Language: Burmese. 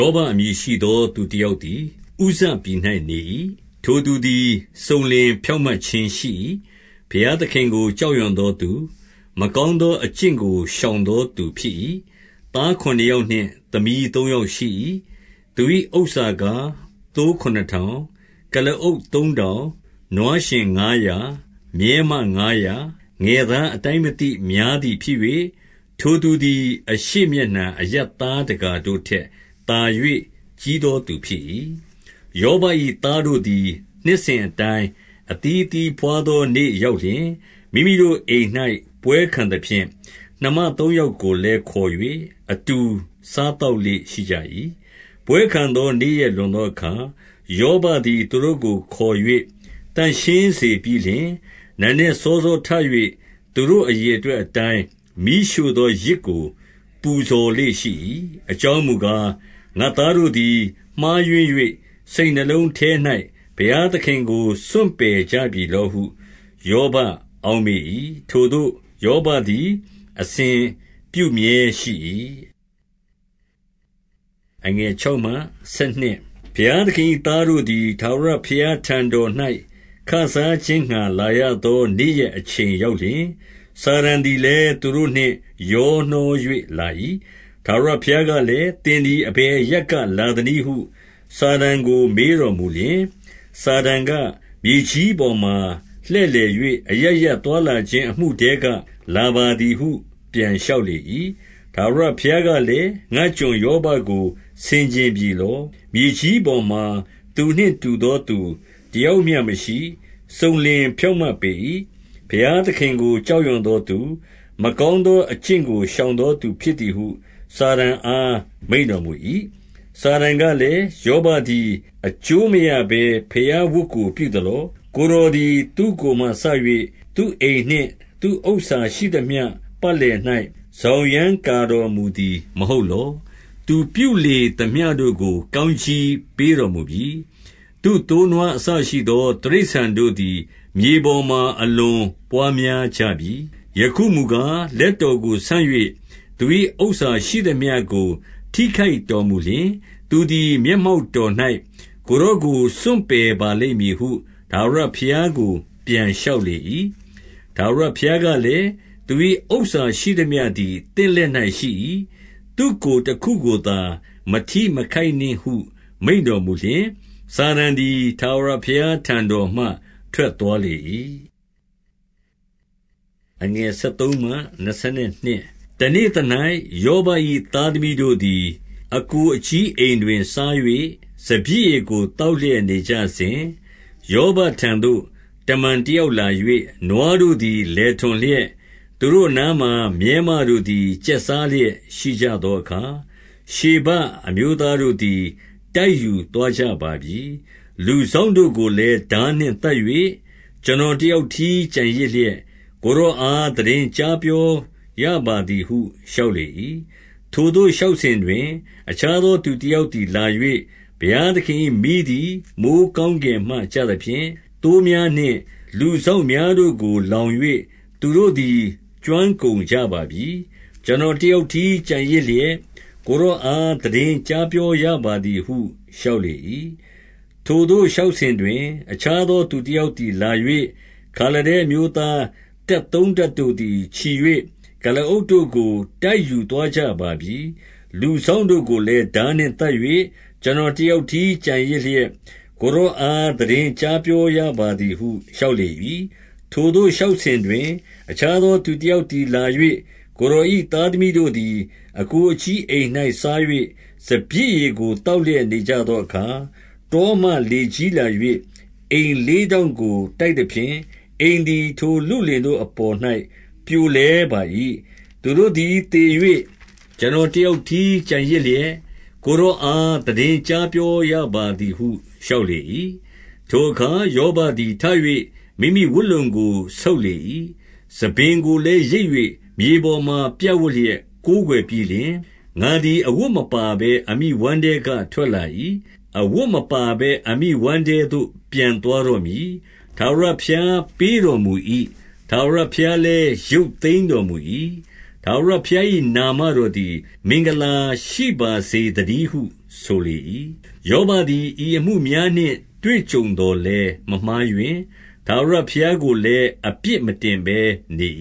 ောဘအမည်ရှိသောသူတယောက်သည် ဥဇပြည်၌နေ၏။ ထိုသူသည်စုံလင်ဖြောင့်မတ်ခြင်းရှိ၏။ ဘုရားသခင်ကို ကြောက်ရွံသောသူ၊ မကောင်းသောအကျင့်ကို ရှောင်သောသူဖြစ်၏။ သားခုနစ်ယောက်နှင့် သမီးသုံးယောက်ရှိ၏။ သူ၏ဥစ္စာကား၊ သိုးခုနစ်ထောင်၊ ကုလားအုပ်သုံးထောင်၊ နွားယှဉ်ငါးရာ၊ မြည်းမငါးရာ၊ ငယ်သား အတိုင်းမသိများသည်ဖြစ်၍၊ ထိုသူသည် အရှေ့မျက်နှာအရပ်သားတကာတို့ထက် သာ၍ကြီးသောသူဖြစ်၏။ ယောဘ၏ သားတို့သည် နှစ်စဉ်အတိုင်း အသီးအသီးဘွားသောနေ့ရောက်လျှင်၊ မိမိတို့အိမ်၌ ပွဲခံသဖြင့်၊ နှမသုံးယောက်ကိုလည်းခေါ်၍ အတူစားသောက်လေ့ ရှိကြ၏။ ပွဲခံသောနေ့ရက်လွန်သောအခါ၊ ယောဘသည်သူတို့ကိုခေါ်၍ သန့်ရှင်းစေပြီးလျှင် နံနက်စောစောထ၍ သူတို့အရေအတွက်အတိုင်း မီးရှို့သောယဇ်ကိုပူဇော်လေ့ရှိ၏။ အကြောင်းမူကား၊ ငါ့သားတို့သည် မှားယွင်း၍ စိတ်နှလုံးထဲ၌ ဘုရားသခင်ကို စွန့်ပစ်ကြပြီလောဟု ယောဘအောက်မေ့၏။ ထိုသို့ယောဘသည် အစဉ်ပြုမြဲ ရှိ၏။ ဘုရားသခင်၏ သားတို့သည်ထာဝရဘုရားထံတော်၌ ခစားခြင်းငှါလာရသောနေ့ရက်အချိန် ရောက်လျှင်၊ စာတန်သည်လည်း သူတို့နှင့်ရောနှော၍လာ၏။ ထာဝရဘုရားကလည်း၊ သင်သည်အဘယ်အရပ်က လာသနည်းဟုစာတန်ကိုမေးတော်မူလျှင်၊ စာတန်က၊ မြေကြီးပေါ်မှာ လှည့်လည်၍ အရပ်ရပ်သွားလာခြင်း အမှုထဲက လာပါသည်ဟု ပြန်လျှောက်လေ၏။ ထာဝရဘုရားကလည်း၊ ငါ့ကျွန်ယောဘကိုဆင်ခြင်ပြီလော။ မြေကြီးပေါ်မှာသူနှင့် တူသောသူ တယောက်မျှမရှိ။ စုံလင်ဖြောင့်မတ်ပေ၏။ ဘုရားသခင်ကို ကြောက်ရွံ့သောသူ၊ မကောင်းသောအကျင့်ကို ရှောင်သောသူဖြစ်သည်ဟု စာတန်အား မိန့်တော်မူ၏။ စာတန်ကလည်း၊ ယောဘသည် အကျိုးမရဘဲ ဘုရားဝတ်ကို ပြုသလော။ ကိုယ်တော်သည် သူ့ကိုယ်မှစ၍ သူ့အိမ်နှင့် သူ့ဥစ္စာ ရှိသမျှ ပတ်လည်၌ စောင်ရန်းကာတော်မူသည် မဟုတ်လော။ သူပြုလေသမျှတို့ကို ကောင်းကြီးပေးတော်မူပြီ။ သူ့သို့းနွားအစရှိသော တိရစ္ဆာန်တို့သည် မြေပေါ်မှာ အလွန်ပွားများကြပြီ။ ယခုမူကား၊ လက်တော်ကိုဆန့်၍ သူ၏ဥစ္စာရှိသမျှကို ထိခိုက်တော်မူလျှင်၊ သူသည် မျက်မှောက်တော်၌ ကိုယ်တော်ကို စွန့်ပယ်ပါလိမ့်မည်ဟု ထာဝရဘုရားကို ပြန်လျှောက်လေ၏။ ထာဝရဘုရားကလည်း၊ သူ၏ဥစ္စာရှိသမျှသည် သင့်လက်၌ရှိ၏။ သူ့ကိုယ်တခုကိုသာ မထိမခိုက်နှင့်ဟု မိန့်တော်မူလျှင်၊ စာတန်သည် ထာဝရဘုရားထံတော်မှ ထွက်သွားလေ၏။ တနေ့သ၌ ယောဘ၏သားသမီးတို့သည် အစ်ကိုအကြီးအိမ်တွင်စား၍ စပျစ်ရည်ကိုသောက်လျက် နေကြစဉ်၊ ယောဘထံသို့ တမန်တယောက်လာ၍၊ နွားတို့သည် လယ်ထွန်လျက်၊ သူတို့အနားမှာမြည်းမတို့သည် ကျက်စားလျက် ရှိကြသောအခါ၊ ရှေဘအမျိုးသားတို့သည် တိုက်ယူသွားကြပါပြီ။ လူစောင့်တို့ကိုလည်း ထားနှင့်သတ်၍ ကျွန်တော် တယောက်တည်း ကျန်ရစ်လျက်၊ ကိုယ်တော်အား သိတင်းကြားပြောရပါသည်ဟု လျှောက်လေ၏။ ထိုသို့လျှောက်စဉ်တွင်၊ အခြားသောသူတယောက်သည်လာ၍၊ ဘုရားသခင်၏မီးသည် မိုဃ်းကောင်း ကင်မှ ကျသဖြင့်၊ သိုးများနှင့် လူစောင့်များတို့ကို လောင်၍သူတို့သည်ကျွမ်းကုန်ကြပါပြီ။ ကျွန်တော်တယောက် တည်း ကျန်ရစ်လျက်၊ ကိုယ်တော်အား သိတင်းကြားပြောရပါသည်ဟုလျှောက်လေ၏။ ထိုသို့လျှောက်စဉ်တွင်၊ အခြားသောသူ တယောက်သည်လာ၍၊ ခါလဒဲအမျိုးသား တပ်သုံးတပ် တို့သည် ချီ၍ ကုလားအုပ်တို့ကို တိုက်ယူသွားကြပါပြီ။ လူစောင့်တို့ကိုလည်း ထားနှင့်သတ်၍ ကျွန်တော်တယောက်တည်း ကျန်ရစ်လျက်၊ ကိုယ်တော်အား သိတင်းကြားပြောရပါသည်ဟု လျှောက်လေ၏။ ထိုသို့လျှောက်စဉ်တွင်၊ အခြားသောသူတယောက်သည်လာ၍၊ ကိုယ်တော်၏သားသမီးတို့သည် အစ်ကိုအကြီးအိမ်၌ စား၍ စပျစ်ရည်ကို သောက်လျက်နေကြသောအခါ၊ တောမှလေကြီးလာ၍ အိမ်လေးထောင့်ကို တိုက်သဖြင့်၊ အိမ်သည် ထိုလုလင်တို့အပေါ်၌ပြိုလဲပါ၏။ သူတို့သည်သေ၍ ကျွန်တော်တယောက်တည်း ကျန်ရစ်လျက်၊ ကိုယ်တော်အား သိတင်းကြားပြောရပါသည်ဟု လျှောက်လေ၏။ ထိုအခါ ယောဘသည် ထ၍ မိမိဝတ်လုံကို ဆုတ်လေ၏။ ဆံပင်ကိုလည်း ရိတ်၍ မြေပေါ်မှာဝပ်လျက် ကိုးကွယ်ပြီးလျှင်၊ ငါသည် အဝတ်မပါဘဲ အမိဝမ်းထဲကထွက်လာ၏။ အဝတ်မပါဘဲ အမိဝမ်းထဲသို့ ပြန်သွားတော့မည်။ ထာဝရဘုရားပေးတော်မူ၏။ ထာဝရဘုရားလည်း ရုပ်သိမ်းတော်မူ၏။ ထာဝရဘုရား၏ နာမတော်သည် မင်္ဂလာရှိပါစေသတည်းဟု ဆိုလေ၏။ ယောဘသည် ဤအမှုများနှင့် တွေ့ကြုံသော်လည်းမမှားယွင်း။ ထာဝရဘုရားကိုလည်းအပြစ် မတင်ဘဲနေ